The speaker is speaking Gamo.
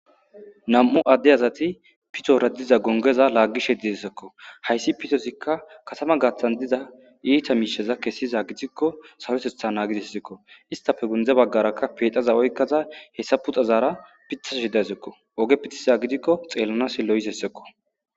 Nam'u adde azati pitora diza gongeza laagishe didesekko hayssi pitosikka katama gaaththan diza iita miisheza kessiza gidikko sarotetha naagisessekko istafe gundze baggarakka pexaza oykkaza hessa puxazaara pithashi daysekko oge pithiza gidikko xeellanas lo'ishessekko.